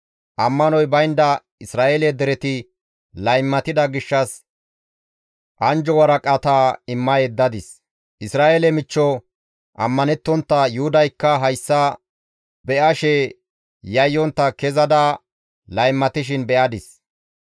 Ammanoy baynda Isra7eele dereti laymatida gishshas anjjo waraqata imma yeddadis; Isra7eele michcho ammanettontta Yuhudaykka hayssa be7ashe yayyontta kezada laymatishin be7adis.